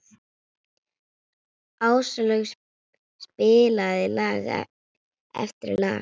Áslaug spilaði lag eftir lag.